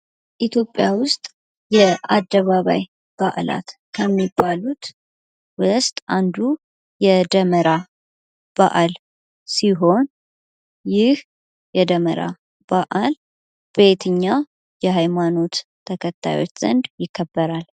ኢትዮጵያ ውስጥ የአደባባይ በአላት ከሚባሉት ውስጥ አንዱ የደመራ በአል ሲሆን ይህ የደመራ በአል በየትኛው የሐይማኖት ተከታዮች ዘንድ ይከበራል?